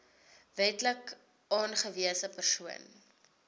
wetlik aangewese persoon